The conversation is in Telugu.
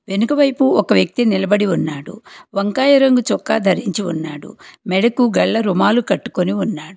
వెనుక వైపు ఒక వ్యక్తి నిలబడి ఉన్నాడు వంకాయ రంగు చొక్కా ధరించి ఉన్నాడు మెడకు గళ్ళ రుణాలు కట్టుకొని ఉన్నాడు.